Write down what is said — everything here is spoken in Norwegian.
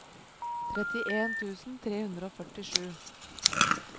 trettien tusen tre hundre og førtisju